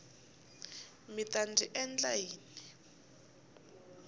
mi ta ndzi endla yini